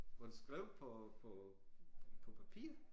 Hvor du skrev på på på papir